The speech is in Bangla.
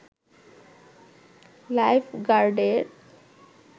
লাইফ গার্ডের